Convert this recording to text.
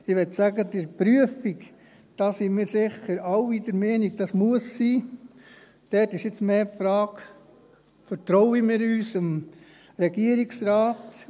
Ich will sagen: Bei der Prüfung – darin, dass diese sein muss, sind wir sicher alle einer Meinung – stellt sich jetzt mehr die Frage: Vertrauen wir unserem Regierungsrat?